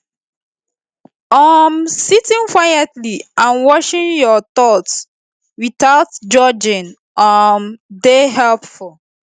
um sitting quietly and washing your thoughts without judging um dey helpful